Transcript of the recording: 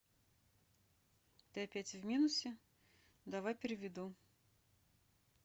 ты опять в минусе давай переведу